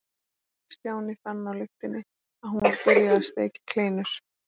Stjáni fann á lyktinni að hún var byrjuð að steikja kleinur.